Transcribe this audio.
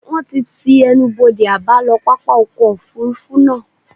Wón ti ti ẹnubodè àbálọ pápá ọkọ̀ Òfurufú náà.